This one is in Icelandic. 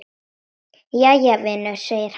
Jæja, vinur segir hann.